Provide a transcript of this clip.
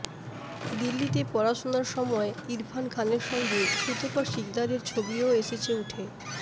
দিল্লিতে পড়াশোনার সময় ইরফান খানের সঙ্গে সুতপা শিকদারের ছবিও এসেছে উঠে